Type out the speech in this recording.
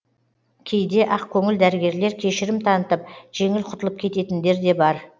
кейде ақкөңіл дәрігерлер кешірім танытып жеңіл құтылып кететіндер де бар